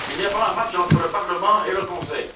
Il n'y a pas de match entre le Parlement et le Conseil!